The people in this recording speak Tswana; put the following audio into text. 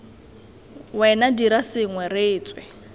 wena dira sengwe re tswe